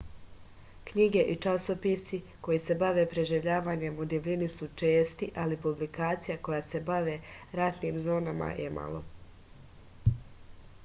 knjige i časopisi koji se bave preživljavanjem u divljini su česti ali publikacija koje se bave ratnim zonama je malo